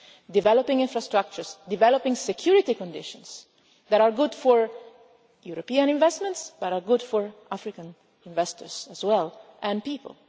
sense? developing infrastructures, developing security conditions that are good for European investments, that are good for African investors as well, and